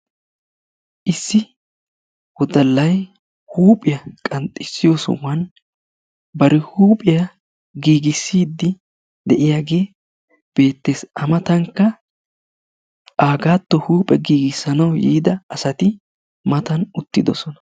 issi wodalay huuphiya qanxxissiyo sohuwan bari huuphiya giigisiidi de'iyagee beetees a matankka agaatto huuphiya giigisanawu yiida asati matan uttidosona..